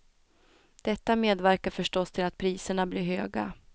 Detta medverkar förstås till att priserna blir höga.